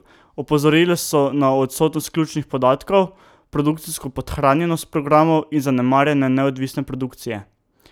Opozorili so na odsotnost ključnih podatkov, produkcijsko podhranjenost programov in zanemarjanje neodvisne produkcije.